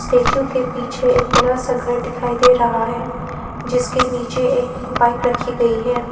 Statue के पीछे एक बड़ा सा घर दिखाई दे रहा है जिसके नीचे एक बाइक रखी गई है।